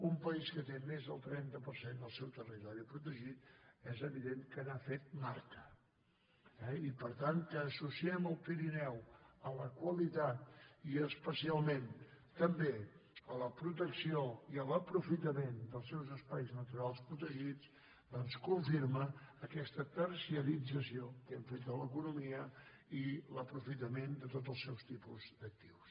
un país que té més del trenta per cent del seu territori protegit és evident que n’ha fet marca eh i per tant que associem el pirineu a la qualitat i especialment també a la protecció i a l’aprofitament dels seus espais naturals protegits i doncs confirma aquesta terciarització que hem fet de l’economia i l’aprofitament de tots els seus tipus d’actius